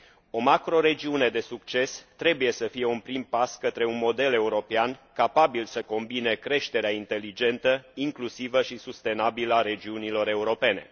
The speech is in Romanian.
O macroregiune de succes trebuie să fie un prim pas către un model european capabil să combine creșterea inteligentă, incluzivă și sustenabilă a regiunilor europene.